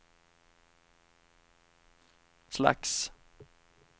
slags